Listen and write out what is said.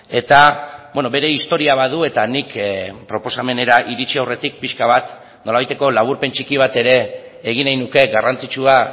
eta bere historia badu eta nik proposamenera iritsi aurretik pixka bat nolabaiteko laburpen txiki bat ere egin nahi nuke garrantzitsua